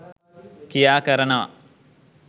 ක්‍රියා කරනව